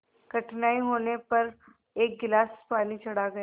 कठिनाई होने पर एक गिलास पानी चढ़ा गए